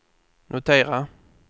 notera